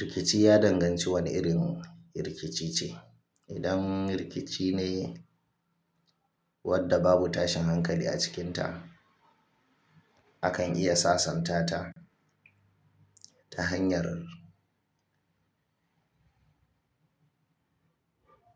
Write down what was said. Rikici ya danganci wane irin rikici ce. Idan rikici ne wadda babu tashin hankali a cikinta, akan iya sasanta ta ta hanyar